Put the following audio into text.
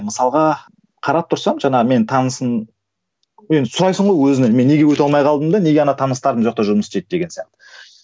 мысалға қарап тұрсам жаңағы мен танысым енді сұрайсың ғой өзіңнен мен неге өте алмай қалдым да неге ана таныстар мына жақта жұмыс істейді деген сияқты